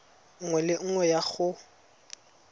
nngwe le nngwe ya go